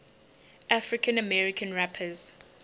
african american rappers